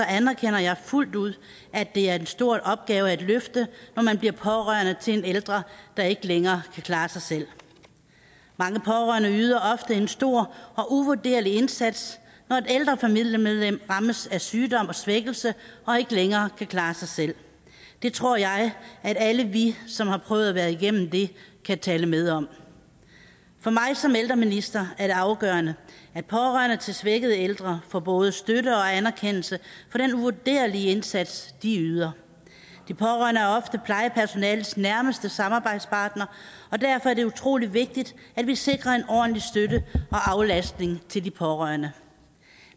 anerkender jeg fuldt ud at det er en stor opgave at løfte når man bliver pårørende til en ældre der ikke længere kan klare sig selv mange pårørende yder ofte en stor og uvurderlig indsats når et ældre familiemedlem rammes af sygdom og svækkelse og ikke længere kan klare sig selv det tror jeg at alle vi som har prøvet at være igennem det kan tale med om for mig som ældreminister er det afgørende at pårørende til svækkede ældre får både støtte til og anerkendelse af den uvurderlige indsats de yder de pårørende er ofte plejepersonalets nærmeste samarbejdspartnere og derfor er det utrolig vigtigt at vi sikrer en ordentlig støtte og aflastning til de pårørende